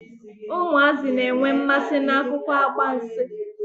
Ụmụazị na-enwe mmasi n'akụkọ agbansi.